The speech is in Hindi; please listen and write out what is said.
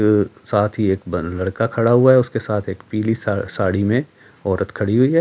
साथ ही एक लड़का खड़ा हुआ है उसके साथ एक पीली साड़ी में औरत खड़ी हुई है।